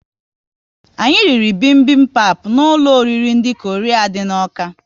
Anyị riri bibimbap n'ụlọ oriri ndị Korea dị n'Awka